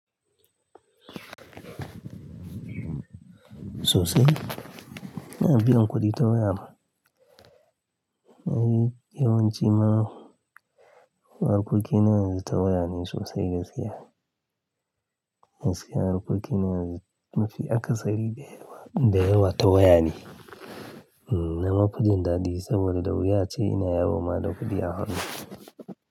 Sosai. Ina biyan kuɗi ta waya. Eh, yawanci ma, harkokin yana yanzu ta waya ne sosai ga saya. Saya harkokin yana yanzu mafi akasari da yawa, da yawa ta waya ne. Na mafijin daɗi saboda da wuya ce ina yawo ma da kuɗi a hannu.